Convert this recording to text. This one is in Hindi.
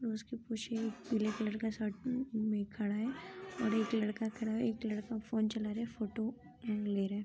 और उसके पीछे एक पीले कलर का शर्ट में खड़ा है और एक लड़का खड़ा है एक लड़का फोन चला रहा है फोटो ले रहा है।